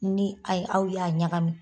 Ni ayi aw y'a ɲagami